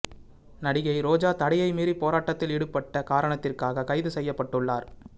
நடிகை ரோஜா தடையை மீறி போராட்டத்தில் ஈடுபட்ட காரணத்திற்காக கைது செய்யப்பட்டுள்ளார்